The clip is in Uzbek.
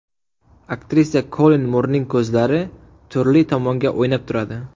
Aktrisa Kollin Murning ko‘zlari turli tomonga o‘ynab turadi.